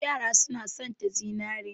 Yara suna satan zinare.